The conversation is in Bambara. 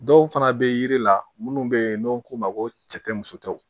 Dɔw fana bɛ yiri la minnu bɛ yen n'u ko ma ko cɛ tɛ muso ta